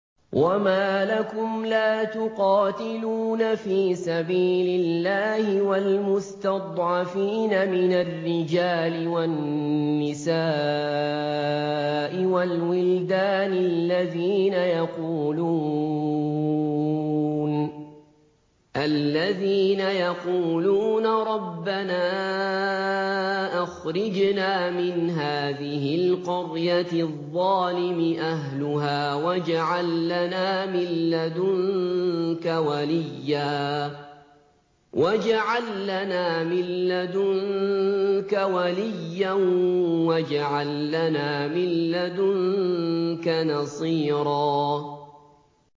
وَمَا لَكُمْ لَا تُقَاتِلُونَ فِي سَبِيلِ اللَّهِ وَالْمُسْتَضْعَفِينَ مِنَ الرِّجَالِ وَالنِّسَاءِ وَالْوِلْدَانِ الَّذِينَ يَقُولُونَ رَبَّنَا أَخْرِجْنَا مِنْ هَٰذِهِ الْقَرْيَةِ الظَّالِمِ أَهْلُهَا وَاجْعَل لَّنَا مِن لَّدُنكَ وَلِيًّا وَاجْعَل لَّنَا مِن لَّدُنكَ نَصِيرًا